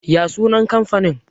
ya sunan kamfanin?